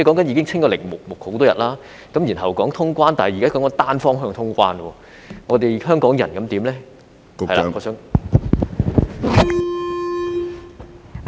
已經"清零"多日，然後說通關，但現時說的是單向通關，香港人怎麼辦呢？